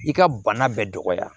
I ka bana bɛɛ dɔgɔya